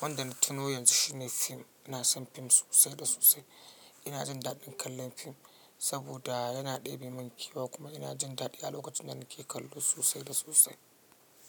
wanda na tuno yanzu shine fim. Ina son fim sosai da sosai. Ina jin daɗin kallon fim saboda yana ɗebe min kewa kuma ina jin daɗi a lokacin da nake kallo sosai da sosai.